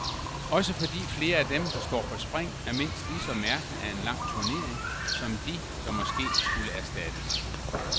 Også fordi flere af dem, der står på spring, er mindst ligeså mærket af en lang turnering som de, der måske skulle erstattes.